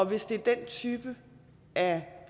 hvis det er den type af